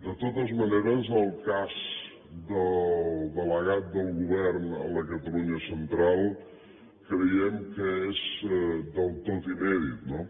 de totes maneres el cas del delegat del govern a la catalunya central creiem que és del tot inèdit no